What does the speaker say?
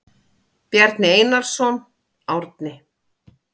Bjarni Einarsson, Árni.